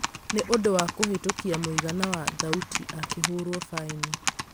nĩ ũndũ wa kũhĩtũkĩa mũigana wa thaũti akihũrwo faĩnĩ